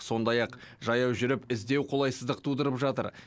сондай ақ жаяу жүріп іздеу қолайсыздық тудырып жатыр